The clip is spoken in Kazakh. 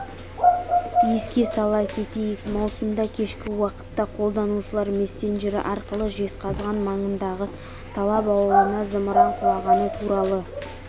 еске сала кетейік маусымда кешкі уақытта қолданушылар мессенджері арқылы жезқазған маңындағы талап ауылына зымыран құлағаны туралы